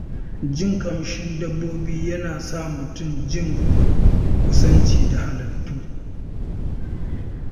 Jin ƙamshin dabbobi yana sa mutum jin kusanci da halittu.